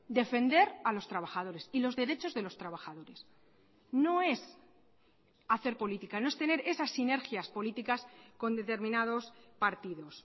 defender a los trabajadores y los derechos de los trabajadores no es hacer política no es tener esas sinergias políticas con determinados partidos